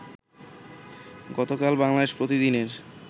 গতকাল বাংলাদেশ প্রতিদিনের